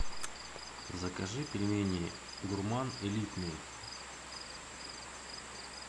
закажи пельмени гурман элитные